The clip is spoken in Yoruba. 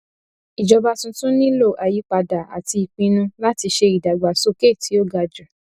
ìjọba tuntun nílò àyípadà àti ìpinnu láti ṣe ìdàgbàsókè tí ó ga jù